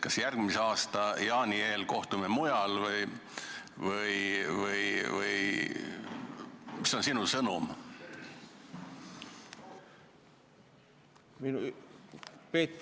Kas järgmine aasta jaani eel kohtume mujal või mis on sinu sõnum?